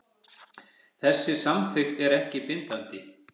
Þessi samþykkt er ekki bindandi